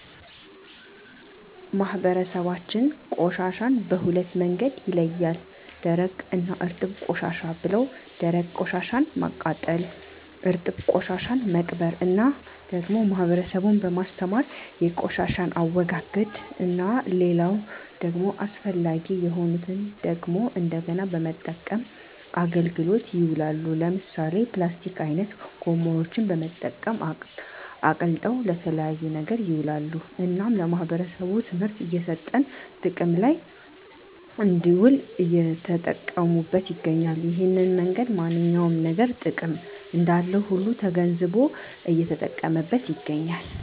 ማህበረሰባችን ቆሻሻን በሁለት መንገድ ይለያል ደረቅ እና እርጥብ ቆሻሻ ብለው ደረቅ ቆሻሻን ማቃጠል እርጥብ ቆሻሻን መቅበር እና ደግሞ ህብረተሰቡን በማስተማር የቆሻሻን አወጋገድ እና ሌላው ደግሞ አስፈላጊ የሆኑትን ደግሞ እንደገና በመጠቀም አገልግሎት ይውላሉ ለምሳሌ ፕላስቲክ አይነት ጎማዎችን በመጠቀም አቅልጠው ለተለያየ ነገር ይውላሉ እናም ለማህበረሰቡ ትምህርት እየሰጠን ጥቅም ለይ እንድውል እየተጠቀሙት ይገኛሉ እሄን መንገድ ማንኛውም ነገር ጥቅም እንዳለው ሁሉ ተገንዝቦ እየተጠቀመበት ይገኛል